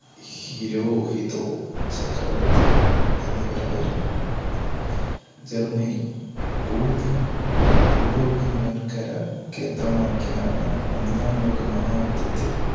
Hirohito ചക്രവർത്തി എന്നിവരായിരുന്നു Germany കൂടുതലും യൂറോപ്യൻ വൻകര കേന്ദ്രമാക്കി നടന്ന ഒന്നാം ലോകമഹായുദ്ധത്തിൽ